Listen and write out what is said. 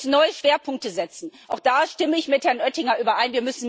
Und wir müssen neue Schwerpunkte setzen, auch da stimme ich mit Herrn Oettinger überein.